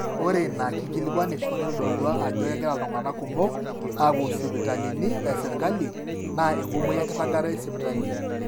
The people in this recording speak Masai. ore ina kikilikuanisho neitodolua ajo kegira iltung'anak kumok aapuo sipitalini esirkali naa enkumoi enkiragata esipitali